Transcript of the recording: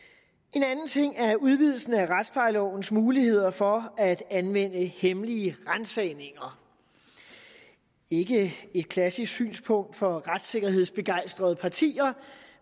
en anden ting er udvidelsen af retsplejelovens muligheder for at anvende hemmelige ransagninger ikke et klassisk synspunkt for retssikkerhedsbegejstrede partier